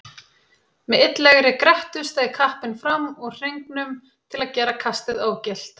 Með illilegri grettu steig kappinn fram úr hringnum til að gera kastið ógilt.